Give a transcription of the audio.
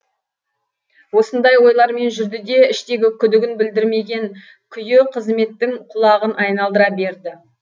осындай ойлармен жүрді де іштегі күдігін білдірмеген күйі қызметтің құлағын айналдыра берді